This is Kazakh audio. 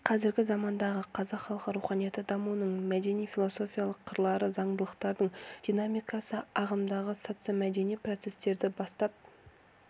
мен қазіргі замандағы қазақ халқы руханияты дамуының мәдени-философиялық қырлары зандылықтардың динамикасы ағымындағы социомәдени процестерді бастан